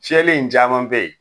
Cɛlen in caman be ye